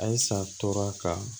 Ayisa tora ka